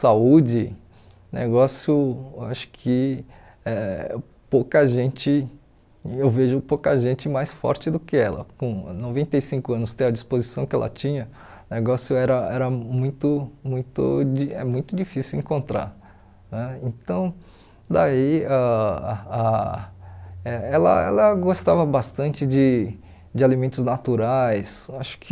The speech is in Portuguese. saúde negócio acho que é pouca gente eu vejo pouca gente mais forte do que ela com noventa e cinco anos ter a disposição que ela tinha negócio era era muito muito de é muito difícil encontrar né então daí ãh a e ela ela gostava bastante de de alimentos naturais acho que